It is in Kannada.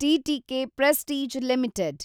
TTK prestige limited